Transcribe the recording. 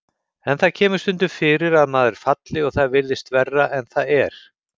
En það kemur stundum fyrir að maður falli og það virðist verra en það er.